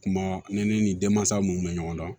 Kuma ne ni denmansa minnu bɛ ɲɔgɔn dɔn